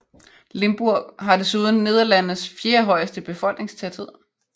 Limburg har desuden Nederlandenes fjerde højeste befolkningstæthed